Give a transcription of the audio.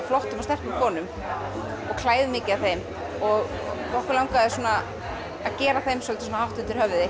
flottum og sterkum konum og klæðum mikið af þeim okkur langaði að gera þeim hátt undir höfði